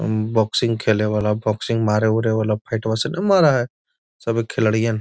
उम boxing खेले वाला boxing सभे खिलाड़ियन।